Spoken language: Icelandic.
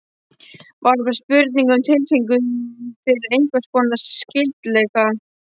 Var það spurning um tilfinningu fyrir einhvers konar skyldleika?